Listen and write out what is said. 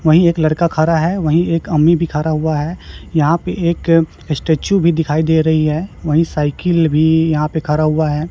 वही एक लड़का खा रहा है। वही एक भी खड़ा हुआ है। यहां पे एक स्टैचू भी दिखाई दे रही है। वही साइकिल भी यहां पर खड़ा हुआ है।